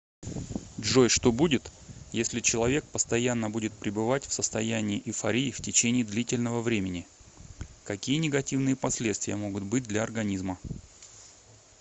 джой что будет если человек постоянно будет пребывать в состоянии эйфории в течении длительного времени какие негативные последствия могут быть для организма